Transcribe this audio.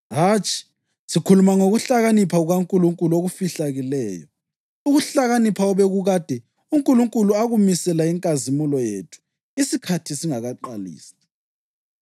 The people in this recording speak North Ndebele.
Hatshi, sikhuluma ngokuhlakanipha kukaNkulunkulu okufihlakeleyo, ukuhlakanipha obekukade uNkulunkulu akumisela inkazimulo yethu isikhathi singakaqalisi.